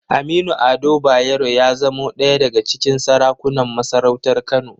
Aminu Ado Bayero ya zamo ɗaya daga cikin sarakunan masarautar Kano.